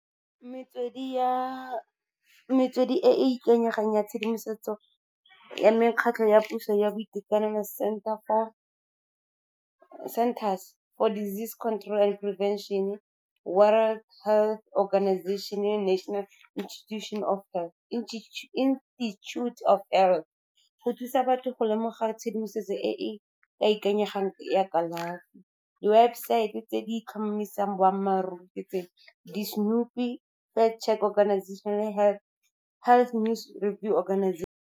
Metswedi e e ikanyegang ya tshedimosetso ya mekgatlho ya puso ya boitekanelo Center's for Disease Control and Prevention, World Health Organization, National Institute of go thusa batho go lemoga tshedimosetso e e ka ikanyegang ya kalafi. Di-website-e tse di tlhomamisang boammaaruri ke tse, di Health Check Organization, Health News Organization.